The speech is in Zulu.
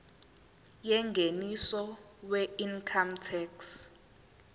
yengeniso weincome tax